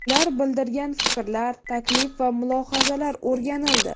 Ular bildirgan fikrlar, taklif va mulohazalar o‘rganildi.